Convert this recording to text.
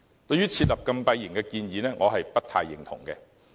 對於設立禁閉營的建議，我不太認同。